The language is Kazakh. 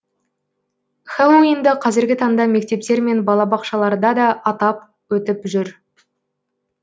хэллоуинді қазіргі таңда мектептер мен балабақшаларда да атап өтіп жүр